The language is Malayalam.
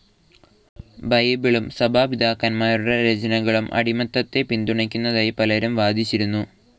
ബൈബിളും സഭാപിതാക്കന്മാരുടെ രചനകളും അടിമത്തത്തെ പിന്തുണക്കുന്നതായി പലരും വാദിച്ചിരുന്നു.